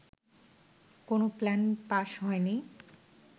কোনো plan pass হয়নি